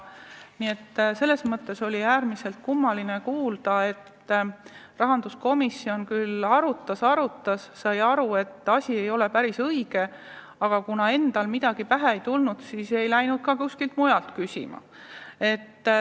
Nii et selles mõttes oli äärmiselt kummaline kuulda, et rahanduskomisjon küll arutas-arutas, sai aru, et asi ei ole päris õige, aga kui endal midagi pähe ei tulnud, siis ei mindud ka kuskilt nõu küsima.